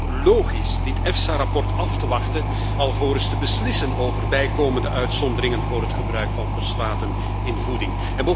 Het is dan ook logisch dit EFSA rapport af te wachten alvorens te beslissen over bijkomende uitzonderingen voor het gebruik van fosfaten in voeding.